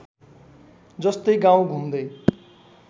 जस्तै गाउँ घुम्दै